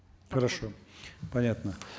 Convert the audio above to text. хорошо понятно